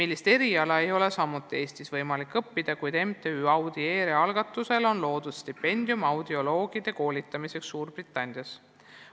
Seda eriala ei ole samuti Eestis võimalik õppida, kuid MTÜ Audiere algatusel on asutatud stipendium audioloogide koolitamiseks Suurbritannias.